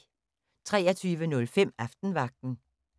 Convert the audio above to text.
23:05: Aftenvagten